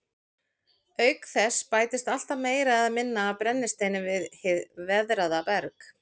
Auk þess bætist alltaf meira eða minna af brennisteini við hið veðraða berg.